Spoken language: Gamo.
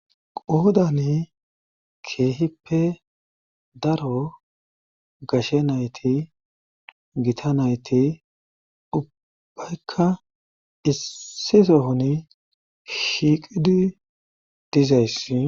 Qoodani keehippe daro gashe nayti gita nayti ubbaykka issi sohoni shiiqidi dizayssi